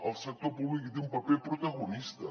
el sector públic hi té un paper protagonista